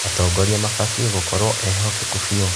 Atongoria mabatiĩ gũkorwo ehokeku biũ.